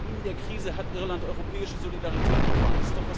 In der Krise hat Irland europäische Solidarität erfahren.